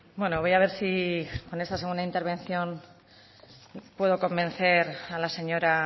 bueno voy a ver si con esta segunda intervención puedo convencer a la señora